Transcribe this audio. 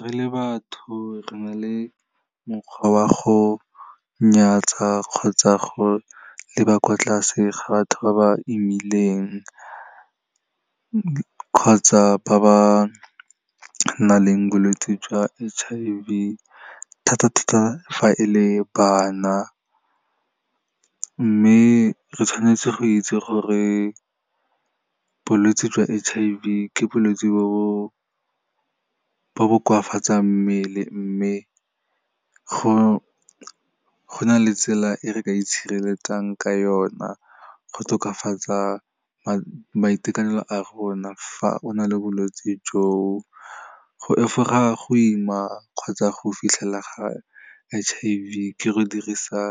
Re le batho re na le mokgwa wa go nyatsa kgotsa go leba kwa tlase ga batho ba ba imileng, kgotsa ba ba nang le bolwetse jwa H_I_V, thata-thata fa e le bana. Mme re tshwanetse go itse gore bolwetse jwa H_I_V ke bolwetse bo bo koafatsang mmele, mme go na le tsela e re ka itshireletsang ka ona go tokafatsa boitekanelo ba rona, fa o na le bolwetse jo. Go efoga go ima kgotsa go fitlhela ga H_I_V, ke go dirisa